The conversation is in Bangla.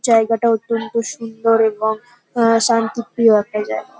জায়গাটা অত্যন্ত সুন্দর এবং আহ শান্তিপ্রিয় একটা জায়গা।